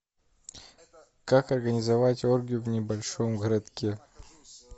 как организовать оргию в небольшом городке